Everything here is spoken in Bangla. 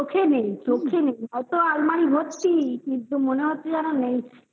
চোখে নেই, চোখে নেই, হয়তো আলমারি ভর্তি কিন্তু মনে হচ্ছে যেন নেই